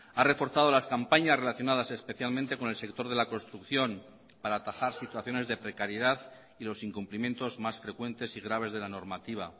ha reforzado las campañas relacionadas especialmente con el sector de la construcción para atajar situaciones de precariedad y los incumplimientos más frecuentes y graves de la normativa